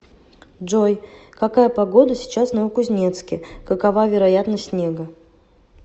джой какая погода сейчас в новокузнецке какова вероятность снега